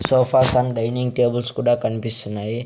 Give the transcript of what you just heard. Sofas and dining tables కుడా కన్పిస్తున్నాయి.